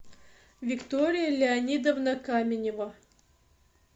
виктория леонидовна каменева